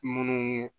Munnu